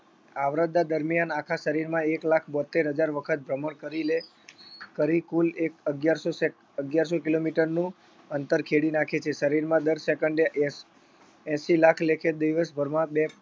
આવરદા દરમિયાન આખા શરીરમાં એક લાખ બોત્તેર હજાર વખત ભ્રમણ કરી લે કરી કુલ અગિયારસો સેક અગિયારસો kilometer નું અંતર ખેડી નાખે છે શરીરમાં દર second એ એંશ એંશી લાખ લેખે દિવસભરમાં બે